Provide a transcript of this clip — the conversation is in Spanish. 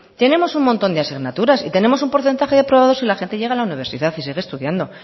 tenemos un montón de asignaturas y tenemos un porcentaje de aprobados y la gente llega a la universidad y sigue estudiando